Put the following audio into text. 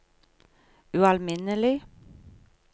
ualminnelig